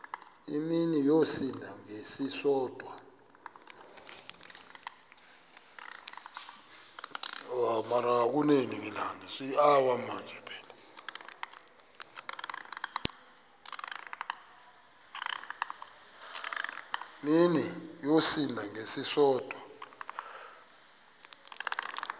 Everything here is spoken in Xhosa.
mini yosinda ngesisodwa